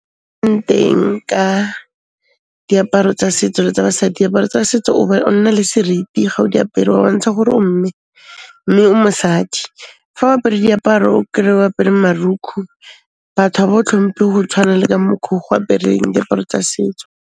Ka, diaparo tsa setso le tsa basadi, diaparo tsa setso o nna le seriti ga o diapere o bontsha gore o mme, mme o mosadi. Fa o apere diaparo o kry-e o apere marokgo, batho ha ba o tlhompe ho tshwana le ka mokgwa oo ge o apereng diaparo tsa setso.